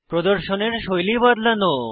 প্রদর্শনের শৈলী বদলানো